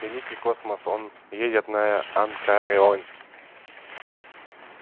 великий космос он едет на анакреон